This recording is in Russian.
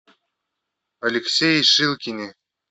алексее шилкине